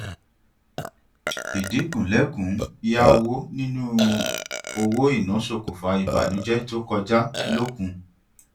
idinku lẹkùnún yá nínú owó ina sokùnfa ìbànújẹ tó kọja lókun